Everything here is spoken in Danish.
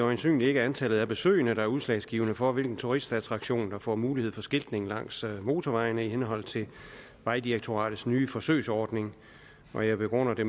øjensynligt ikke er antallet af besøgende der er udslagsgivende for hvilken turistattraktion der får mulighed for skiltning langs motorvejene i henhold til vejdirektoratets nye forsøgsordning jeg begrunder det